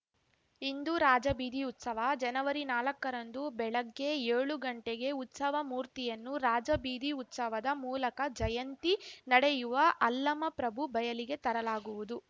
ಇಂದು ರಾಜಬೀದಿ ಉತ್ಸವ ಜನವರಿ ನಾಲಕ್ಕರಂದು ಬೆಳಗ್ಗೆ ಏಳು ಗಂಟೆಗೆ ಉತ್ಸವ ಮೂರ್ತಿಯನ್ನು ರಾಜಬೀದಿ ಉತ್ಸವದ ಮೂಲಕ ಜಯಂತಿ ನಡೆಯುವ ಅಲ್ಲಮಪ್ರಭು ಬಯಲಿಗೆ ತರಲಾಗುವುದು